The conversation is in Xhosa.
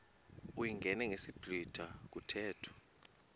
uyingene ngesiblwitha kuthethwa